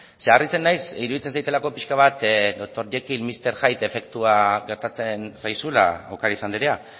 harritzen naiz zeren iruditzen zaidalako pixka bat doctor jekyll y mister hyde efektua gertatzen zaizula ocariz anderea